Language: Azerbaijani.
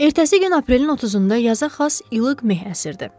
Ertəsi gün aprelin 30-da yaza xas ilıq meh əsirdi.